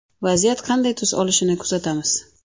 Vaziyat qanday tus olishini kuzatamiz.